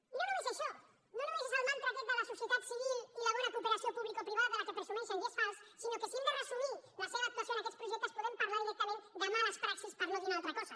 i no només això no només és el mantra aquest de la societat civil i la bona cooperació publicoprivada de què presumeixen i és fals sinó que si hem de resumir la seva actuació en aquests projectes podem parlar directament de males praxis per no dir una altra cosa